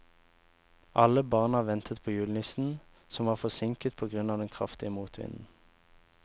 Alle barna ventet på julenissen, som var forsinket på grunn av den kraftige motvinden.